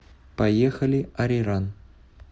поехали ариран